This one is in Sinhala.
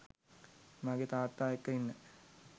මගේ තාත්තා එක්ක ඉන්න